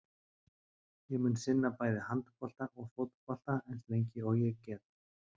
Ég mun sinna bæði handbolta og fótbolta eins lengi og ég get.